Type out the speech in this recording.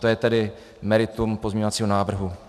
To je tedy meritum pozměňovacího návrhu.